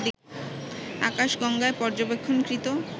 আকাশগঙ্গায় পর্যবেক্ষণকৃত